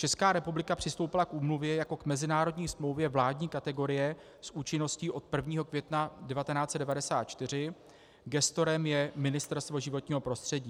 Česká republika přistoupila k úmluvě jako k mezinárodní smlouvě vládní kategorie s účinností od 1. května 1994, gestorem je Ministerstvo životního prostředí.